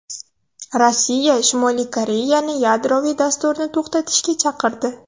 Rossiya Shimoliy Koreyani yadroviy dasturni to‘xtatishga chaqirdi.